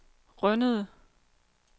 Rønnede